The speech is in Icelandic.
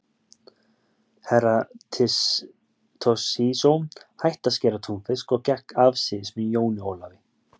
Herra Toshizo hætti að skera túnfisk og gekk afsíðis með jóni Ólafi.